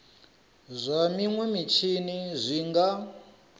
zwa minwe mitshini zwi nga